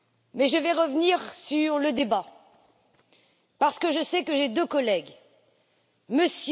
Mais je vais revenir sur le débat, parce que je sais que j'ai deux collègues, M.